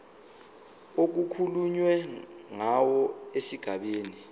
okukhulunywe ngawo esigabeni